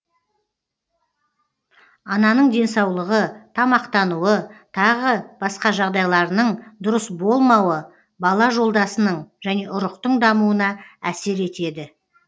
ананың денсаулығы тамақтануы тағы басқа жағдайларының дұрыс болмауы бала жолдасының және ұрықтың дамуына әсер етеді